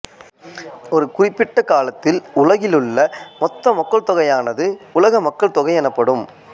ஒரு குறிப்பிட்ட காலத்தில் உலகிலுள்ள மொத்த மக்கள்தொகையானது உலக மக்கள் தொகை எனப்படும்